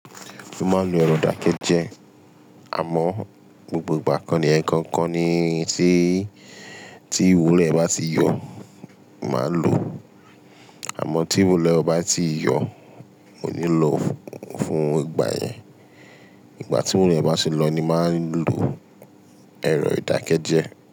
Mo máa ń lo èrò ìdákẹ́jẹ́ àmọ́ gbogbo ìgbà kọ ni ẹ̀kọọkan ni tí, tí ìwúlo ẹ bá ti yọ̀, màá lòó. Àmọ́ tí ìwúlo e ọ ba tii yọ̀, mo ní lọ fún ìgbà yẹn. Ìgbà tí ìwúlo e bá ṣe lọ ni màá lọ èrọ ìdákẹ́jẹ́.